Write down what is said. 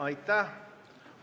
Aitäh!